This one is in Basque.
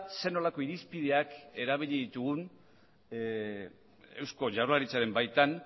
zer nolako irizpideak erabili ditugun eusko jaurlaritzaren baitan